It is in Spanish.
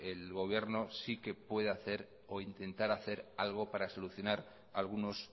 el gobierno sí que puede hacer o intentar hacer algo para solucionar algunos